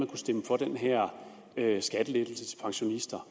kunne stemme for den her skattelettelse til pensionister